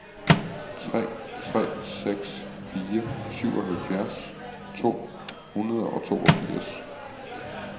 tre tre seks fire syvoghalvfjerds to hundrede og toogfirs